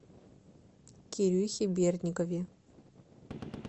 кирюхе бердникове